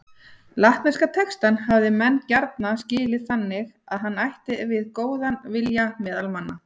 Latneska textann hafa menn gjarna skilið þannig að hann ætti við góðan vilja meðal manna.